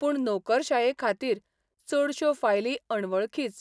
पूण नोकरशायेखातीर चडश्यो फायली अणवळखीच.